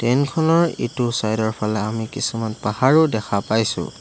Train খনৰ ইটো side ৰ ফালে আমি কিছুমান পাহাৰো দেখা পাইছোঁ।